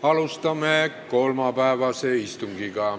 Alustame kolmapäevast istungit.